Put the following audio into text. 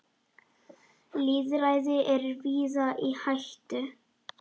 Lýðræði er víða í hættu.